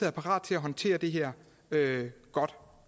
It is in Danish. er parate til at håndtere det her godt